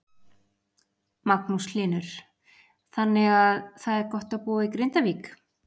Magnús Hlynur: Þannig að það er gott að búa í Grindavík?